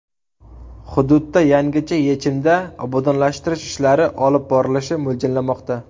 Hududda yangicha yechimda obodonlashtirish ishlari olib borilishi mo‘ljallanmoqda.